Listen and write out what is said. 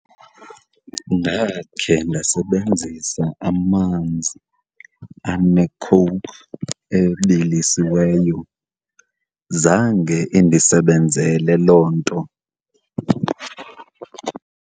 Ndakhe ndasebenzisa amanzi aneCoke ebilisiweyo. Zange indisebenzele loo nto.